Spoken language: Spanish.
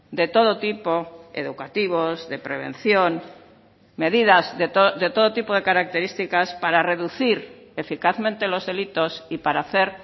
de todo tipo educativos de prevención medidas de todo tipo de características para reducir eficazmente los delitos y para hacer